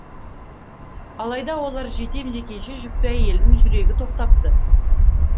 алайда олар жетем дегенше жүкті әйелдің жүрегі тоқтапты